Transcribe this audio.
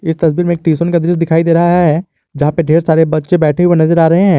इस तस्वीर में ट्यूशन का दृश्य दिखाई दे रहा है जहां पे ढेर सारे बच्चे बैठे हुए नजर आ रहे हैं।